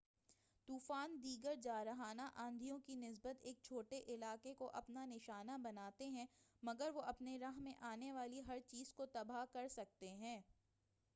طُوفان دیگر جارحانہ آندھیوں کی نسبت ایک چھوٹے علاقے کو اپنا نشانہ بناتے ہیں مگر وہ اپنی راہ میں آنے والی ہر چیز کو تباہ کرسکتے ہیں